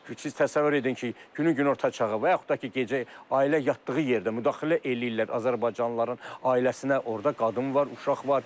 Təsəvvür edin ki, günün günorta çağı, və yaxud da ki, gecə ailə yatdığı yerdə müdaxilə eləyirlər azərbaycanlıların ailəsinə, orda qadın var, uşaq var.